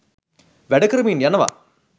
වැඩකරමින් යනවා